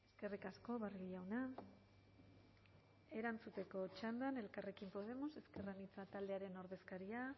eskerrik asko barrio jauna erantzuteko txandan elkarrekin podemos ezker anitza taldearen ordezkaria